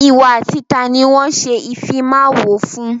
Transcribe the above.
Ìwọ àti taàní wọn ṣe ìfimawo fún?